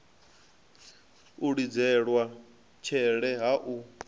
u lidzelwa tshele hu a